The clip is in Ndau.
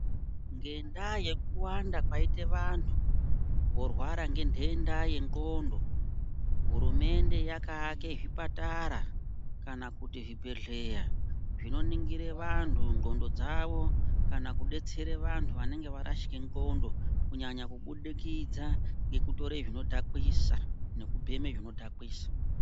Ngendaa yekuwanda kwaita vantu vorwara ngenhenda yendxondo, hurumende yakaake zvipatara kana kuti zvibhehleya zvinoningire vantu ndxondo dzavo kana kudetsere vantu vanenge varashike ndxondo kunyanya kubudikidza ngekutora zvinodhakwisa nekubheme zvinodhakwisa.